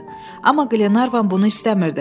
Amma Glenarvan bunu istəmirdi.